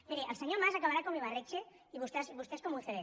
miri el senyor mas acabarà com ibarretxe i vostès com ucd